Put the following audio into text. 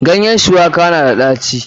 Ganyen Bitter leaf na da ɗaci.